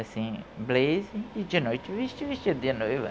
Assim, blazer, e de noite vestia, vestido de noiva.